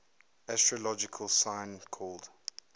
astrological sign called